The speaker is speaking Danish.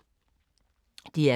DR K